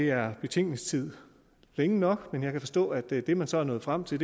er betænkningstid nok men jeg kan forstå at det det man så er nået frem til